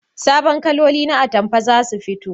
Sabon kaloli na atamfa zasu fito